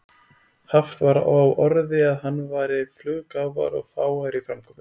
Haft var á orði að hann væri fluggáfaður og fágaður í framkomu.